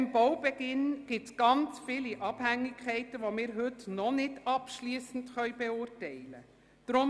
Auch beim Baubeginn bestehen sehr viele Abhängigkeiten, die wir heute noch nicht abschliessend beurteilen können.